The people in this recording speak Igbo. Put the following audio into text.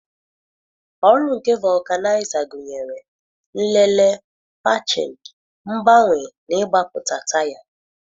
Ọrụ nke vulcanizer gụnyere: nlele, patching, mgbanwe na ịgbapụta taya.